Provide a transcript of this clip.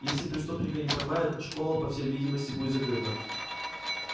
если преступника не поймают школа по всей видимости будет закрыта